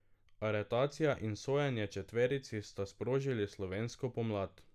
Aretacija in sojenje četverici sta sprožili slovensko pomlad.